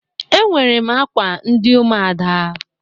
Enwere m akwa ndị ụmụada.